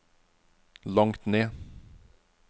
langt ned